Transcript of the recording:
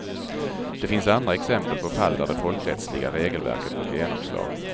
Det finns andra exempel på fall där det folkrättsliga regelverket fått genomslag.